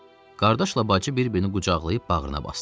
Qardaşla bacı bir-birini qucaqlayıb bağrına basdı.